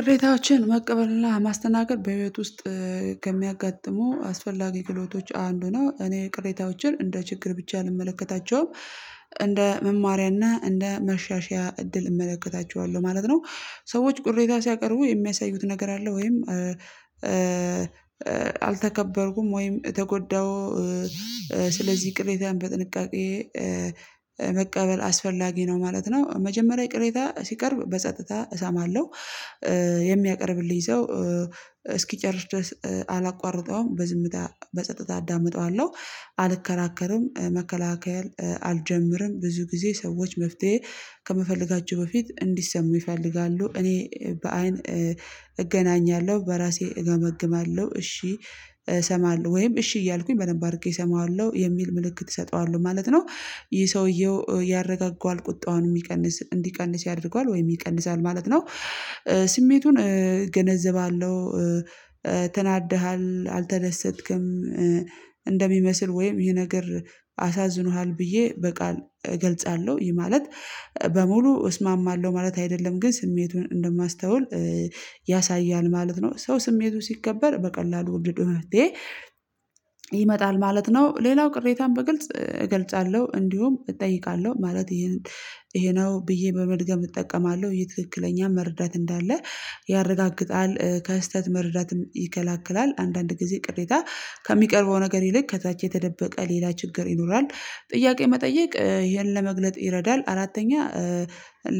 ቅሬታዎችን መቀበል እና ማስተናገድ በህይወት ውስጥ ከሚያጋጥሙ አስፈላጊ ክህሎቶች አንዱ ነው። እኔ ቅሬታዎችን እንደ ችግር ብቻ አልመለከታቸውም። እንደ መማሪያና እንደ መሻሻያ እድል እመለከታቸዋለሁ ማለት ነው። ሰዎች ቅሬታ ሲያቀርቡ የሚያሳዩት ነገር አለ ወይም አልተከበርኩም ወይም ተጎዳው ስለዚህ ቅሬታን በጥንቃቄ መቀበል አስፈላጊ ነው ማለት ነው። መጀመሪያ ቅሬታ ሲቀርብ በጸጥታ እሰማለሁ የሚያቀርብልኝ ሰው እስኪጨርስ ድረስ አላቋርጠውም። በዝምታ በጸጥታ አዳምጠዋለሁ። አልከራከር፤ መከላከል አልጀምርም። ብዙ ጊዜ ሰዎች መፍትሄ ከመፈለጋቸው በፊት እንዲሰሙ ይፈልጋሉ። እኔ በአይን እገናኛለሁ፤ በራሴ እገመግማለሁ፤ እሺ እሰማለሁ ወይም እሺ እያልኩኝ በደንብ አድርጌ እሰማዋለሁ የሚል ምልክት እሰጠዋለሁ ማለት ነው። ይህ ሰውየው ያረጋጋዋል ቁጣውን የሚቀንስ እንዲቀንስ ያደርገዋል ወይም ይቀንሳል ማለት ነው። ስሜቱን እገነዘባለሁ ተናደሃል አልተደሰትክም እንደሚመስል ወይም ይሄ ነገር አሳዝኖሃል ብዬ በቃል እገልጻለሁ። ይህ ማለት በሙሉ እስማማለሁ ማለት አይደለም። ግን ስሜቱን እንደማስተውል ያሳያል ማለት ነው። ሰው ስሜቱ ሲከበር በቀላሉ ወደ መፍትሄ ይመጣል ማለት ነው። ሌላው ቅሬታን በግልጽ እገልጻለሁ እንዲሁም እጠይቃለሁ። ማለት ይህን ይሄ ነው ብዬ በመድገም እጠቀማለሁ ይህ ትክክለኛ መረዳት እንዳለ ያረጋግጣል። ከስህተት መረዳትም ይከላክላል። አንዳንድ ጊዜ ቅሬታ ከሚቀርበው ነገር ይልቅ ከታች የተደበቀ ሌላ ችግር ይኖራል። ጥያቄ መጠየቅ ይሄን ለመግለጥ ይረዳል። አራተኛ